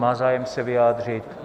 Má zájem se vyjádřit?